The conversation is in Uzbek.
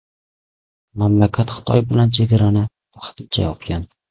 Mamlakat Xitoy bilan chegarani vaqtincha yopgan.